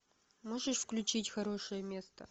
можешь включить хорошее место